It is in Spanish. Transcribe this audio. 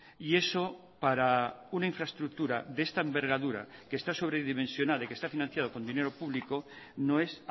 y eso para una infraestructura de esta envergadura que está sobredimensionada y que está financiado con dinero público no es